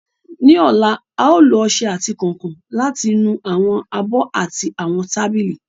Ní ọ̀la, a ó lo ọṣẹ àti kànkàn láti nu àwọn abọ́ àti àwọn tábìlì